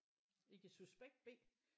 Ikke suspekt B